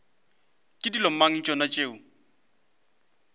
ke dilo mang tšona tšeo